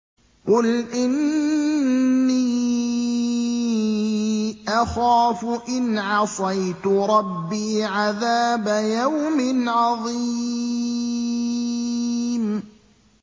قُلْ إِنِّي أَخَافُ إِنْ عَصَيْتُ رَبِّي عَذَابَ يَوْمٍ عَظِيمٍ